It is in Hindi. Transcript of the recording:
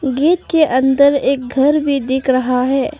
गेट के अंदर एक घर भी दिख रहा है।